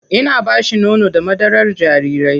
Ina ba shi nono da madarar jarirai.